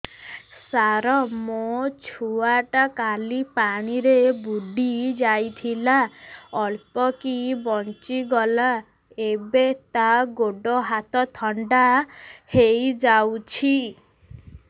ସାର ମୋ ଛୁଆ ଟା କାଲି ପାଣି ରେ ବୁଡି ଯାଇଥିଲା ଅଳ୍ପ କି ବଞ୍ଚି ଗଲା ଏବେ ତା ଗୋଡ଼ ହାତ ଥଣ୍ଡା ହେଇଯାଉଛି